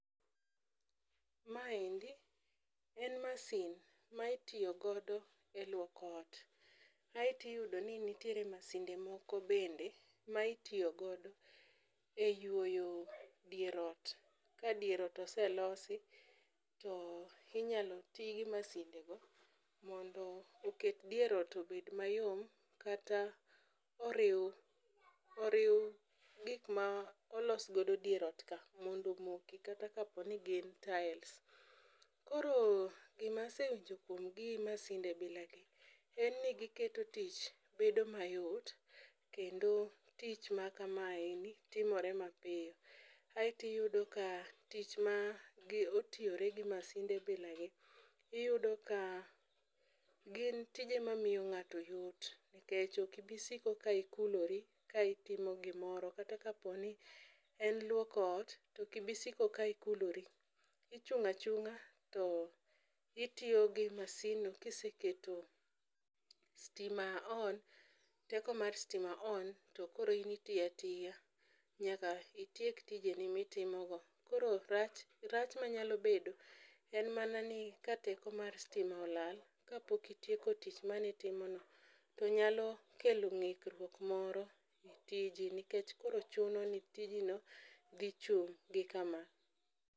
Ma endi en masin ma itiyo godo e luoko ot. Aeti yudo ni nitiere masinde moko bende ma itiyo godo e yuoyo dier ot ka dier ot oselosi to inyalo tii gi masinde go mondo oket dier ot obed mayom kata oriw oriw gik ma olos godo dier ot ka mondo omoko kata kapo ni gi taels. Koro gima sewinjo kuom gi masinde bila gi ne gi giketo tich bedo mayot kendo tich ma kama eni timore ma piyo. Aeto iyudo ka tich ma otiyore gi masinde bila gi iyudo ka gin tije ma miyo ng'ato yot kech ok ibi siko ka ikulori ka itimo gimoro kata kapo ni ne luoko ot ok ibi siko ka ikulori ichung' achung'a to itiyo gi masin no ka iseketo stima on teko mar stima on to koro in itiya tiya nyaka itiek tijeni mitimo go. Koro rach rach manyalo bedo en mana ni ka teko mar stima olal kapok itieko tich manitimo no to nyalo kelo ng'ikruok moro e tiji nikech koro chuno ni tiji no dhi chung' gi kama